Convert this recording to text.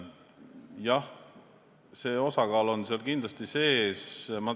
Jah, see osakaal on seal kindlasti sees.